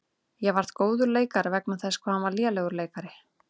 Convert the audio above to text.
Ég varð góður leikari vegna þess hvað hann var lélegur leikari.